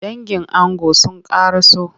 Dangin ango sun kara so.